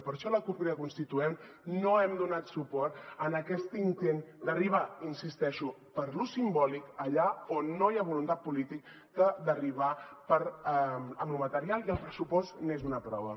per això la cup crida constituent no hem donat suport a aquest intent d’arribar hi insisteixo per l’ús simbòlic allà on no hi ha voluntat política d’arribar amb lo material i el pressupost n’és una prova